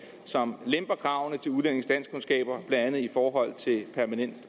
som lemper kravene til udlændinges danskkundskaber blandt andet i forhold til permanent